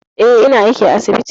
Eh, ina aiki a asibiti.